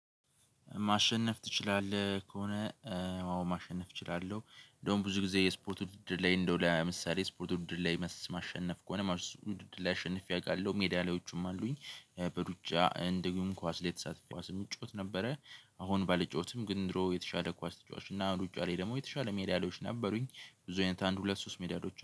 ማሸነፍ ትችላለህ ከሆነ? አዎ ማሸነፍ እችላለሁ እንደውም ብዙ ጊዜ የስፖርት ውድድር ላይ እንደው ለምሳሌ ስፖርት ድር ላይ ማሸነፍ ከሆነ ውድድር ላይ አሸንፌ አውቃለሁ ሜዳሊያዎቹም አሉኝ። በሩጫ እንደውም ኳስ ላይ የተሳተፈ ኳስም እጫወት ነበረ። አሁን ባልጫወትም ግን ድሮ የተሻለ ኳስ ተጫዋቾች እና ሩጫ ላይ ደግሞ የተሻለ ሜዳሊያዎች ነበሩኝ። ብዙ አይነት አንድ ሁለት ሶስት ሜዳሊያዎች